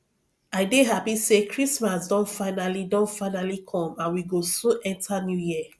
i dey happy say christmas don finally don finally come and we go soon enter new year